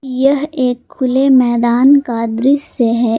यह एक खुले मैदान का दृश्य है।